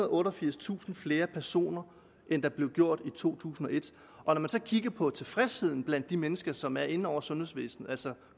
og otteogfirstusind flere personer end der blev gjort i to tusind og et når man så kigger på tilfredsheden blandt de mennesker som er inde over sundhedsvæsenet altså